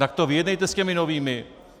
Tak to vyjednejte s těmi novými!